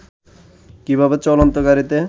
কীভাবে চলন্ত গাড়ীতে